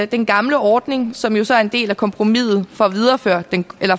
den gamle ordning som jo så er en del af kompromiset